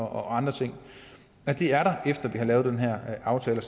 og andre ting og det er der efter vi har lavet den her aftale